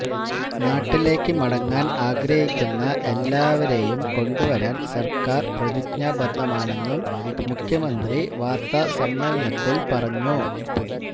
നാട്ടിലേക്ക് മടങ്ങാന് ആഗ്രഹിക്കുന്ന എല്ലാവരേയും കൊണ്ടുവരാന് സര്ക്കാര് പ്രതിജ്ഞാബദ്ധമാണെന്നും മുഖ്യമന്ത്രി വാര്ത്ത സമ്മേളനത്തില് പറഞ്ഞു